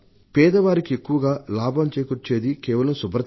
పేదవారికి ఎక్కువగా లాభం చేకూర్చేది కేవలం శుభ్రతే